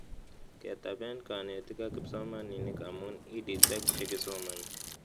Ketaben kanetik ak kipsomanik amu EdTech che kisomani